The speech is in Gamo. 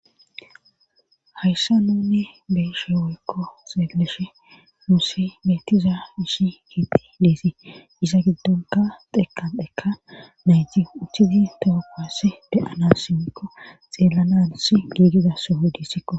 Hayssa nunne beeshe woykko xeelleshe muusi beettiza ishi gietti leesii iza giddonka xekan dhekka nayti uchchizi toopass de7ana simmikko xeellanans giigizassohoydissikko.